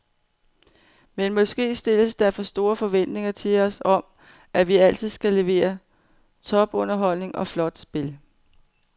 Men måske stilles der for store forventninger til os om, at vi altid skal levere topunderholdning og flot spil.